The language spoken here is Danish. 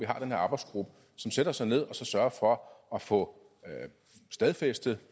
arbejdsgruppe som sætter sig ned og sørger for at få stadfæstet